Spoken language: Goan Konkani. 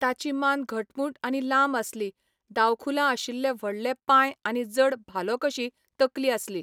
ताची मान घटमूट आनी लांब आसली, दावखुलां आशिल्ले व्हडले पांय आनी जड भालोकशी तकली आसली.